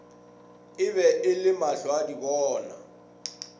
e be e le mahlwaadibona